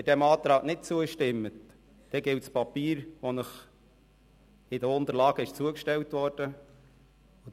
Wenn Sie dem Antrag nicht zustimmen, gilt das Papier, das Ihnen mit den Unterlagen zugestellt worden ist.